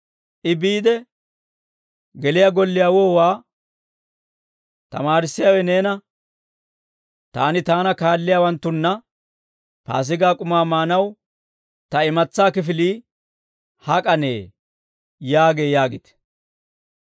I biide geliyaa golliyaawuwaa, ‹Tamaarissiyaawe neena, «Taani taana kaalliyaawanttunna Paasigaa k'umaa maanaw ta imatsaa kifilii hak'anee?» yaagee› yaagite.